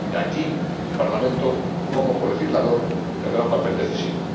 Y aquí el Parlamento, como colegislador, tendrá un papel decisivo.